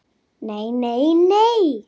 Nei, nei nei.